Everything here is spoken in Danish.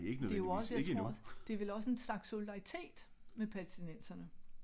Det er jo også jeg tror også det er vel også en slags solidaritet med palæstinenserne